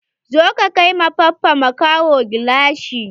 Zo ka kai ma Baffa makaho gilashi!